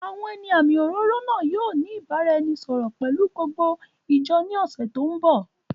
Àwọn ẹni àmì òróró náà yìí ó ní ìbáraẹnisọọ̀rọ̀ pelu gbogbo ìjọ ní ọ̀sẹ̀ tòun bọ̀.